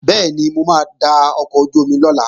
Bẹ́ẹ̀ni, mo máa da ọkọ̀ ojú-omi lọ̀la